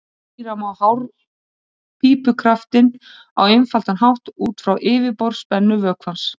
skýra má hárpípukraftinn á einfaldan hátt út frá yfirborðsspennu vökvans